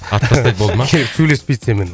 атып тастайды болды ма сөйлеспейді сенімен